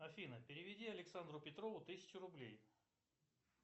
афина переведи александру петрову тысячу рублей